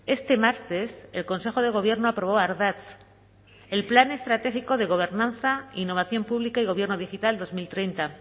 este martes el consejo de gobierno aprobó ardatz el plan estratégico de gobernanza e innovación pública y gobierna digital dos mil treinta